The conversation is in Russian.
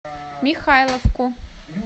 михайловку